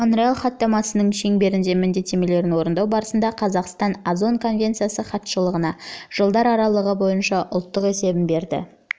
монреаль хаттамасының шеңберіндегі міндеттемелерін орындау барысында қазақстан озон конвенциясы хатшылығына жылдар аралығы бойынша ұлттық есебін берді